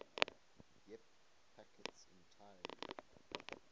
ip packets entirely